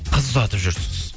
қыз ұзатып жүрсіз